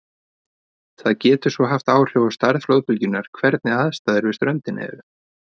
Það getur svo haft áhrif á stærð flóðbylgjunnar hvernig aðstæður við ströndina eru.